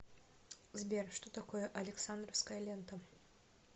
сбер что такое александровская лента